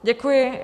Děkuji.